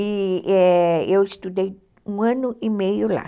E, é, eu estudei um ano e meio lá.